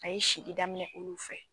A ye sili daminɛ olu fɛ